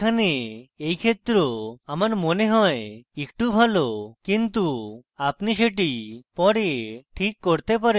এখানে এই ক্ষেত্র আমার মনে হয় একটু ভালো কিন্তু আপনি সেটি পরে this করতে পারেন